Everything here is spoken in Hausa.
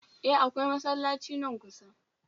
E, akawai masallaci nan kusa.